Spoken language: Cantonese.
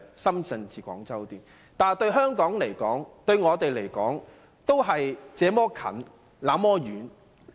可是，這些對香港來說、對我們來說，卻是"這麼近，那麼遠"。